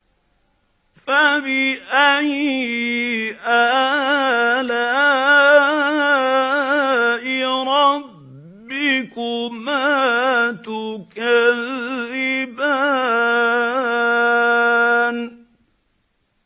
فَبِأَيِّ آلَاءِ رَبِّكُمَا تُكَذِّبَانِ